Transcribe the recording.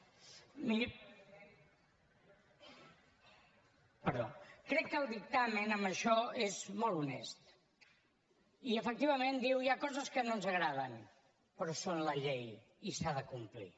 crec que el dictamen en això és molt honest i efectivament diu hi ha coses que no ens agraden però és la llei i s’ha de complir